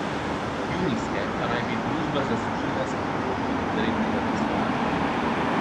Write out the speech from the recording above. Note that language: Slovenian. Junijske pa naj bi družba zaslužila s prihodki iz rednega poslovanja.